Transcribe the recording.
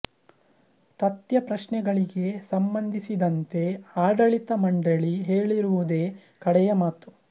ತಥ್ಯ ಪ್ರಶ್ನೆಗಳಿಗೆ ಸಂಬಂಧಿಸಿದಂತೆ ಆಡಳಿತ ಮಂಡಳಿ ಹೇಳಿರುವುದೇ ಕಡೆಯ ಮಾತು